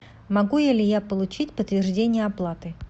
могу ли я получить подтверждение оплаты